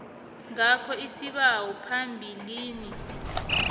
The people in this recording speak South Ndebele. ngakho isibawo phambilini